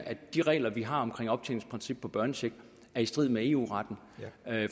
at de regler vi har om optjeningsprincip på børnecheck er i strid med eu retten